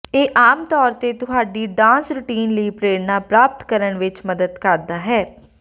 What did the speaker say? ਇਹ ਆਮ ਤੌਰ ਤੇ ਤੁਹਾਡੀ ਡਾਂਸ ਰੁਟੀਨ ਲਈ ਪ੍ਰੇਰਨਾ ਪ੍ਰਾਪਤ ਕਰਨ ਵਿੱਚ ਮਦਦ ਕਰਦਾ ਹੈ